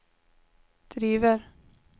driver